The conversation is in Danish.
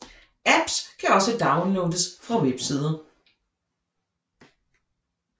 Apps kan også downloades fra websider